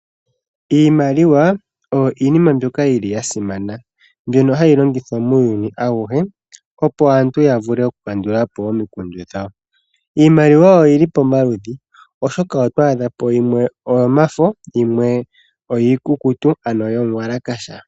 Iimaliwa oyo iinima mbyoka yili ya simana mbyono hayi longithwa muuyuni awuhe opo aantu ya vule oku kandulapo omikundu dhawo. Iimaliwa oyili pomaludhi oshoka oto adhapo yimwe oyo mafo yimwe iikukutu ano yomuwalakasha.